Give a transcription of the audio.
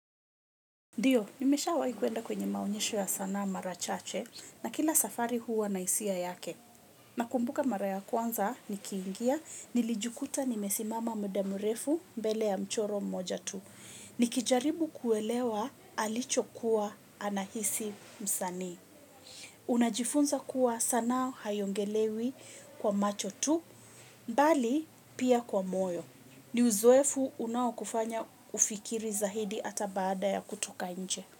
Ndiyo, nimesha waikuenda kwenye maonyesho ya sana marachache na kila safari huwa na isia yake. Nakumbuka mara ya kwanza, nikiingia, nilijukuta nimesimama mudamurefu mbele ya mchoro mmoja tu. Nikijaribu kuelewa alicho kuwa anahisi msani. Unajifunza kuwa sana hayongelewi kwa macho tu, mbali pia kwa moyo. Ni uzowefu unawakufanya ufikiri za hidi ata baada ya kutoka nje.